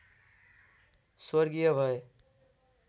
स्वर्गीय भए